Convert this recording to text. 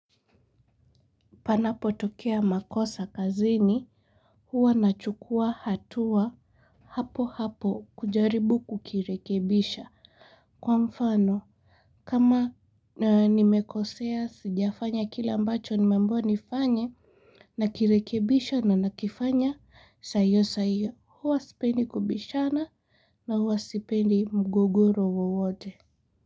Panapo tokea makosa kazini huwa nachukua hatua hapo hapo kujaribu kukirekebisha kwa mfano kama nimekosea sijafanya kile ambacho nimeambiwa nifanye nakirekebisha na nakifanya saa hiyo saa hiyo huwa sipendi kubishana na huwa sipendi mgogoro wote.